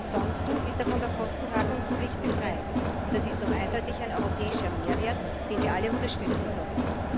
Ansonsten ist er von der Kostentragungspflicht befreit. Und das ist doch eindeutig ein europäischer Mehrwert, den wir alle unterstützen sollten!